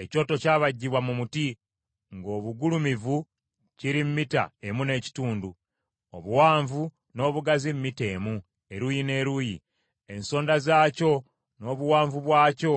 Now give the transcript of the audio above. Ekyoto kyabajjibwa mu muti ng’obugulumivu kiri mita emu n’ekitundu, obuwanvu n’obugazi mita emu, eruuyi n’eruuyi. Ensonda zaakyo n’obuwanvu bwakyo